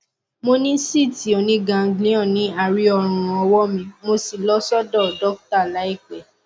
mo ní síìtì oníganglion ní àárí ọrùn ọwọ mi mo sì lọ sọdọ dọkítà láìpẹ